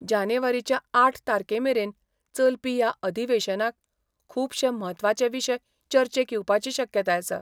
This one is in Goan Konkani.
जानेवारीच्या आठ तारकेमेरेन चलपी या अधिवेशनाक खुपशे म्हत्वाचे विशय चर्चेक येवपाची शक्यताय आसा.